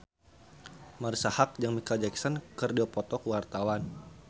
Marisa Haque jeung Micheal Jackson keur dipoto ku wartawan